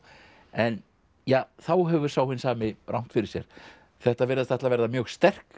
en ja þá hefur sá hinn sami rangt fyrir sér þetta virðast ætla að verða mjög sterk